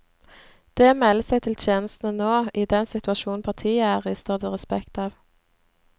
Det å melde seg til tjeneste nå, i den situasjon partiet er i, står det respekt av.